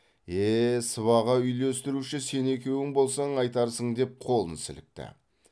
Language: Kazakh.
е е сыбаға үйлестіруші сен екеуің болсаң айтарсың деп қолын сілікті